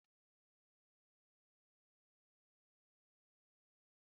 Ade, chaa yabasị ahụ tupu m lọta!